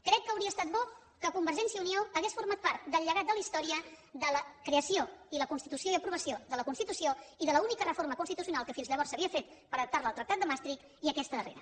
crec que hauria estat bo que convergència i unió hagués format part del llegat de la història de la creació i la constitució i aprovació de la constitució i de l’única reforma constitucional que fins llavors s’havia fet per adaptar la al tractat de maastricht i aquesta darrera